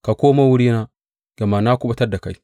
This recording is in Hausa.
Ka komo wurina, gama na kuɓutar da kai.